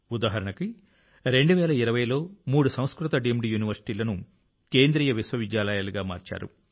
ఉదాహరణకు 2020లో మూడు సంస్కృత డీమ్డ్ యూనివర్సిటీలను కేంద్రీయ విశ్వవిద్యాలయాలుగా మార్చారు